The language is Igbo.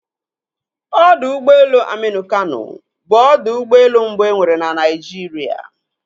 Odọ ụgbọelu Aminu Kano, bụ ọdọ ụgbọelu mbụ e nwere na Naịjirịa.